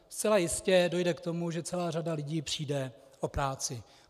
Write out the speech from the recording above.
Zcela jistě dojde k tomu, že celá řada lidí přijde o práci.